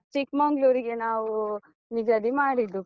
ಚಿಕ್ಮಂಗ್ಳೂರಿಗೆ ನಾವು ನಿಗದಿ ಮಾಡಿದ್ದು.